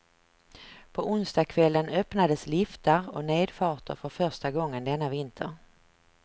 På onsdagkvällen öppnades liftar och nedfarter för första gången denna vinter.